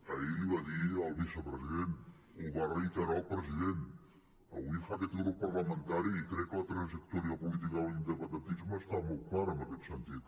ahir l’hi va dir el vicepresident ho va reiterar el president avui ho fa aquest grup parlamentari i crec que la trajectòria política de l’independentisme està molt clara en aquest sentit